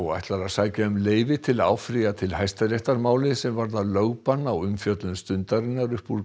ætlar að sækja um leyfi til að áfrýja til Hæstaréttar máli sem varðar lögbann á umfjöllun Stundarinnar upp úr